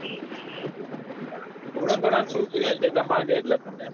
થોડા ઘણાં શું તું યાર જેટલા માંગે એટલા આપી દઉં.